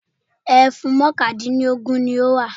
Ẹfun mọ́kàndínlógún ni ó wà.